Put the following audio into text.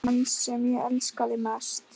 Hann sem ég elskaði mest.